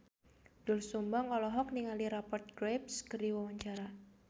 Doel Sumbang olohok ningali Rupert Graves keur diwawancara